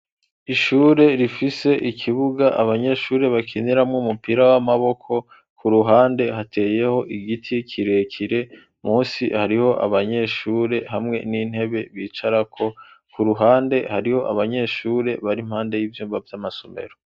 ishure rifise ikibuga abanyeshure bakiniramwo umupira w'amaboko , ku ruhande , hateyeho igiti kirekire , munsi hariho abanyeshure hamwe n'intebe bicarako , ku ruhande hariho abanyeshure bari impande y'ivyumba vy'amasomero.